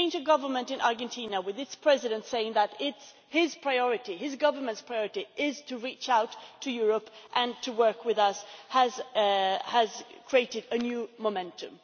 The change of government in Argentina with its President saying that it is his priority, his government's priority, to reach out to Europe and to work with us has created a new momentum.